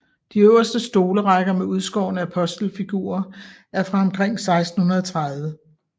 De øverste stolerækker med udskårne apostelfigurer er fra omkring 1630